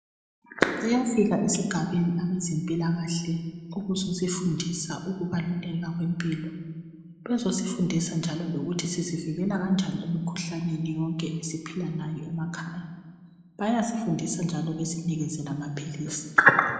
Bayafika esigabeni abezempilakahle ukuzosifundisa ukubaluleka kwempilo, bayasifundisa njalo lokuthi sizivikela kanjani emikhuhlaneni yonke esiphila layo emakhaya, besinike lamaphilisi.